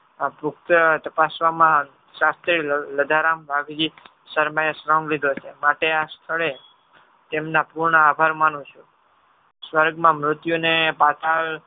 તપાશવમાં શાસ્ત્રી લધારામ શર્માએ શ્રમ લીધો છે. માટે આ સ્થળે તેમના પૂર્ણ આભાર માનું છું. સ્વર્ગમાં મૃત્યુને પાતાળ